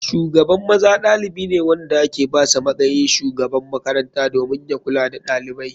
Shugaban maza ɗalibi ne wanda ake basa matsayin shugaban makaranta domin ya kula da ɗalibai.